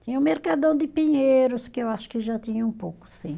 Tinha o Mercadão de Pinheiros, que eu acho que já tinha um pouco, sim.